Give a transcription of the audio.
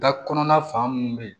Da kɔnɔna fan mun be ye